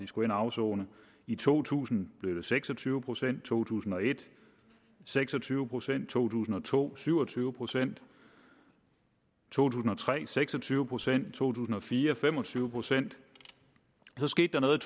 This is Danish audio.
skulle ind at afsone i to tusind blev det seks og tyve procent i to tusind og et seks og tyve procent i to tusind og to syv og tyve procent i to tusind og tre seks og tyve procent i to tusind og fire fem og tyve procent så skete der noget